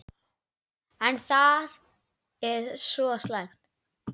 Er það svo slæmt?